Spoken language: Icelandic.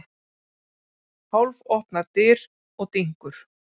Hálfopnar dyr og dynkur.